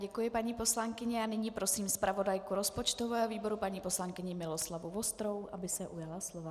Děkuji, paní poslankyně, a nyní prosím zpravodajku rozpočtového výboru paní poslankyni Miroslavu Vostrou, aby se ujala slova.